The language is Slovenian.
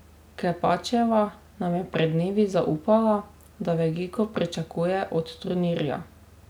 Klepačeva nam je pred dnevi zaupala, da veliko pričakuje od turnirja.